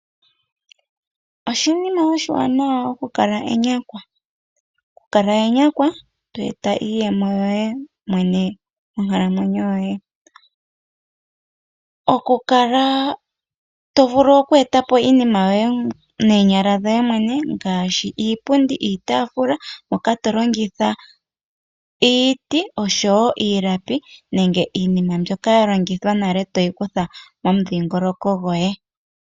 Oshinima oshiwanawa okukala enyakwa, okukala enyakwa to eta iiyemo yoye mwene monkalamwenyo yoye. Okukala to vulu oku eta po iinima yoye noonyala dhoye mwene ngaashi iipundi, iitaafula, moka to longitha iiti osho wo iilapi nenge iinima mbyoka ya longithwa nale toyi kutha momudhongoloko goye.